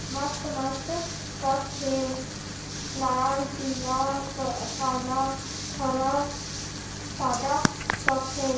मस्त-मस्त कप हे लाल पीला काला हरा सादा कप हे। --